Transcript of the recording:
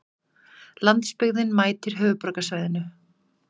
Landsbyggðin mætir höfuðborgarsvæðinu